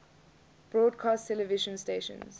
broadcast television stations